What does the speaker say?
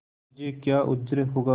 मुझे क्या उज्र होगा